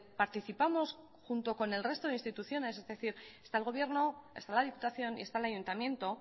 participamos junto con el resto de instituciones es decir está el gobierno está la diputación y está el ayuntamiento